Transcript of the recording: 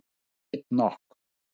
Ég veit nokk.